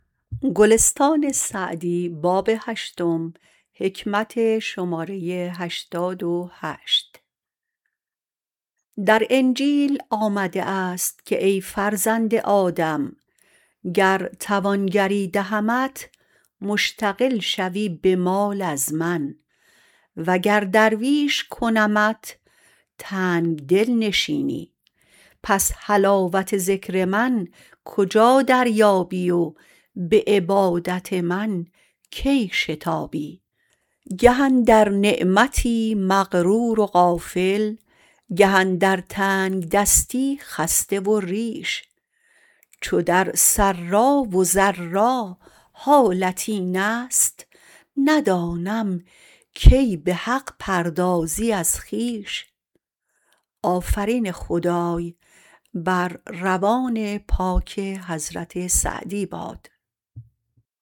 در انجیل آمده است که ای فرزند آدم گر توانگری دهمت مشتغل شوی به مال از من و گر درویش کنمت تنگدل نشینی پس حلاوت ذکر من کجا دریابی و به عبادت من کی شتابی گه اندر نعمتی مغرور و غافل گه اندر تنگدستی خسته و ریش چو در سرا و ضرا حالت این است ندانم کی به حق پردازی از خویش